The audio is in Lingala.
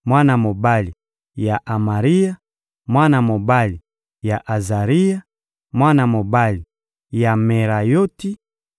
mwana mobali ya Amaria, mwana mobali ya Azaria, mwana mobali ya Merayoti,